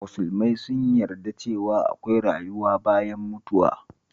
Musulmai sun yarda cewa akwai rayuwa bayan mutuwa